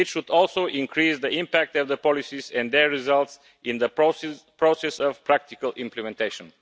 It should also increase the impact of the policies and their results in the process of practical implementation.